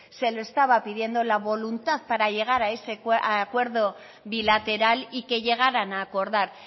se le estaba pidiendo la voluntad para llegar a ese acuerdo bilateral y que llegaran a acordar